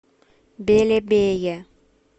белебее